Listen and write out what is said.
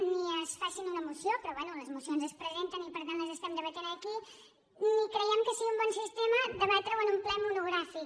ni es faci en una moció però bé les mocions es presenten i per tant les estem debatent aquí ni creiem que sigui un bon sistema debatreho en un ple monogràfic